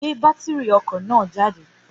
Gbé bátìrì ọkọ̀ jáde